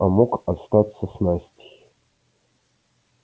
а мог остаться с настей